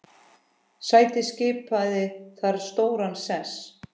Snædís skipaði þar stóran sess.